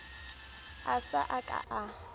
a sa ka a a